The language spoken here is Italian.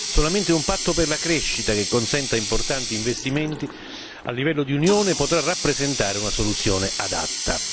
Solamente un patto per la crescita che consenta importanti investimenti a livello di Unione potrà rappresentare una soluzione adatta.